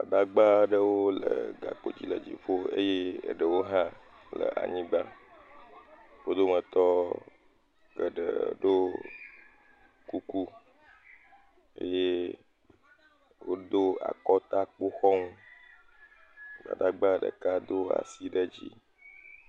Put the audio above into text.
Gbadagbaaɖewo le gakpodzi le dziƒo eye eɖewo hã le anyigba. Wo dometɔ geɖe ɖo kuku eye wodo akɔtakpoxɔŋu. Gbadagba ɖeka do asi ɖe dzii.